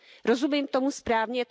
Rozumím tomu správně?